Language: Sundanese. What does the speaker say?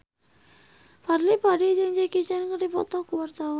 Fadly Padi jeung Jackie Chan keur dipoto ku wartawan